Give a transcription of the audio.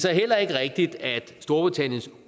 er heller ikke rigtigt at storbritanniens